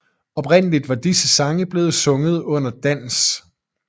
Oprindeligt var disse sange blevet sunget under dans